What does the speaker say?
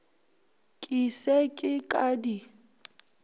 ke se ke ka di